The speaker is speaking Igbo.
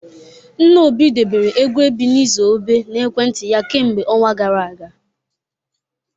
Nna Obi debere egwu Ebenezer Obe n'ekwentị ya kemgbe ọnwa gara aga